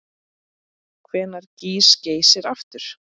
Hvenær gýs Geysir aftur?